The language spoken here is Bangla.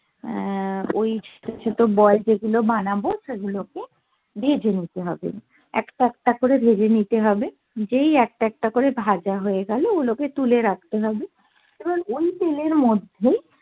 আহ ওই ছোটো ছোটো বল যে গুলো বানাবো সেগুলো কে ভেজে নিতে হবে একটা একটা করে ভেজে নিতে হবে যেই একটা একটা করে ভাজা হয়ে গেলো ওইগুলো কে তুলে রাখতে হবে এবার ওই তেলের মধ্যেই